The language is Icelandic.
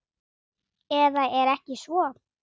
Eða er ekki svo?